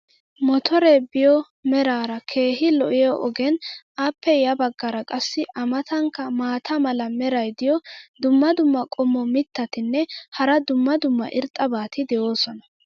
mottoree biyo meraara keehi lo'iya ogeenne appe ya bagaara qassi a matankka maata mala meray diyo dumma dumma qommo mitattinne hara dumma dumma irxxabati de'oosona.